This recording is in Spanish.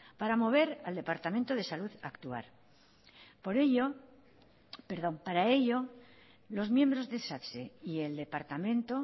ara mover al departamento de salud actual para ello los miembros del satse y el departamento